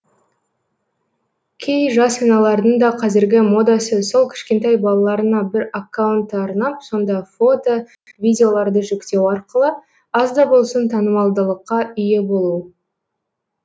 кей жас аналардың да қазіргі модасы сол кішкентай балаларына бір аккаунтты арнап сонда фото видеоларды жүктеу арқылы аз да болсын танымалдылыққа ие болу